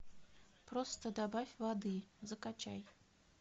просто добавь воды закачай